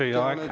Teie aeg!